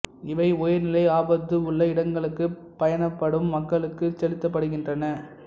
இவை உயர்நிலை ஆபத்து உள்ள இடங்களுக்குப் பயணப்படும் மக்களுக்குச் செலுத்தப்படுகின்றன